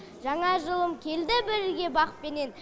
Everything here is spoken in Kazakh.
жаңа жылым келді бірге бақпенен